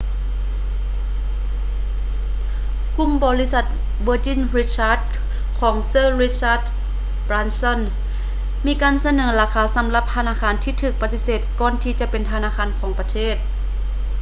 ກຸ່ມບໍລິສັດ virgin richard ຂອງ sir richard branson ມີການສະເໜີລາຄາສຳລັບທະນາຄານທີ່ຖືກປະຕິເສດກ່ອນທີຈະເປັນທະນາຄານຂອງປະເທດ